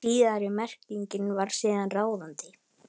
Síðari merkingin varð síðan ráðandi.